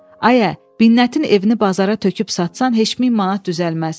Ayə, Binnətin evini bazara töküb satsan heç 1000 manat düzəlməz.